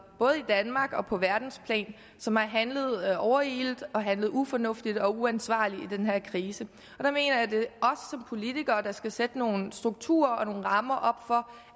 både i danmark og på verdensplan som har handlet overilet og handlet ufornuftigt og uansvarligt i den her krise og politikere der skal sætte nogle strukturer og nogle rammer op